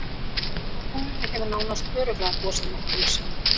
Á tunglinu hefur nánast örugglega gosið nokkrum sinnum.